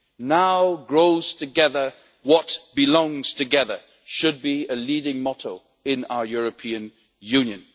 Now grows together what belongs together' should be a leading motto in our European Union.